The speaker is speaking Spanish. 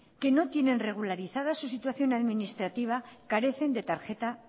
que no tienen regularizada su situación administrativa carecen de tarjeta